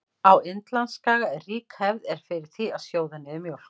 Á Indlandsskaga er rík hefð er fyrir því að sjóða niður mjólk.